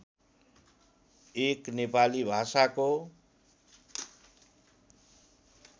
एक नेपाली भाषाको